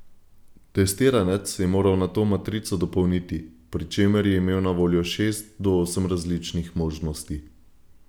Testiranec je moral nato matrico dopolniti, pri čemer je imel na voljo šest do osem različnih možnosti.